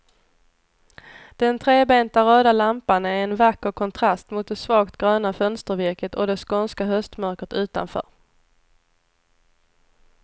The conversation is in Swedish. Den trebenta röda lampan är en vacker kontrast mot det svagt gröna fönstervirket och det skånska höstmörkret utanför.